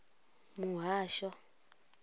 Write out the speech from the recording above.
muhasho